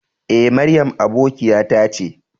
E, Mariam aboƙiyata ce.